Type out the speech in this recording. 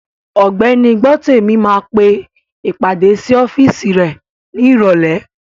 Ògbẹ́ni Gbọ́tèmi máa pe ìpàdé sí ọ́físì rẹ̀ ní ìrọ̀lẹ́